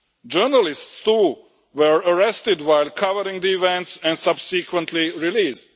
Journalists too were arrested while covering the events and subsequently released.